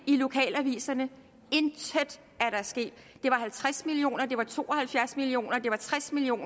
i lokalaviserne intet er der sket det var halvtreds million kr det var to og halvfjerds million kr det var tres million